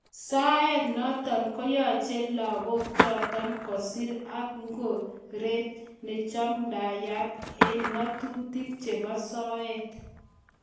Soet notok konyache lenguk chotok kosir ik ngoret nimachamdayat ik nga'atutik chebo soet.